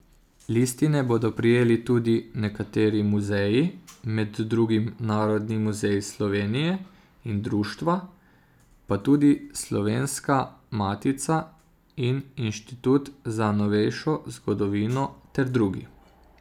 Listine bodo prejeli tudi nekateri muzeji, med drugim Narodni muzej Slovenije, in društva, pa tudi Slovenska matica in Inštitut za novejšo zgodovino ter drugi.